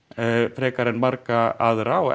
frekar en marga aðra og